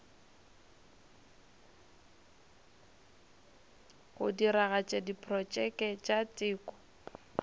go diragatša diprotšeke tša teko